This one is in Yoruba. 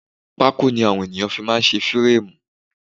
Pákó ni àwọn ènìyàn fi máá ń ṣe férémù